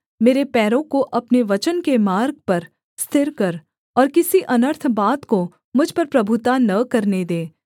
मेरे पैरों को अपने वचन के मार्ग पर स्थिर कर और किसी अनर्थ बात को मुझ पर प्रभुता न करने दे